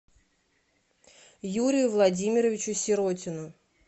юрию владимировичу сиротину